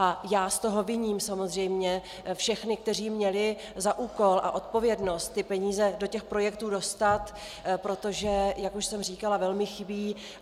A já z toho viním samozřejmě všechny, kteří měli za úkol a odpovědnost ty peníze do těch projektů dostat, protože jak už jsem říkala, velmi chybí.